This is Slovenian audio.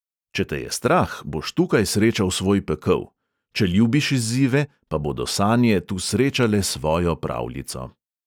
Če te je strah, boš tukaj srečal svoj pekel, če ljubiš izzive, pa bodo sanje tu srečale svojo pravljico.